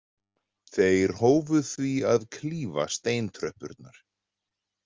Þeir hófu því að klífa steintröppurnar.